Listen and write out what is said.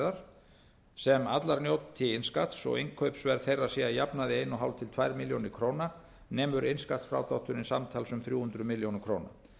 bifreiðar sem allar njóti innskatts og innkaupsverð þeirra sé að jafnaði eins og hálft til tvær milljónir króna nemur innskattsfrádrátturinn samtals um þrjú hundruð milljóna króna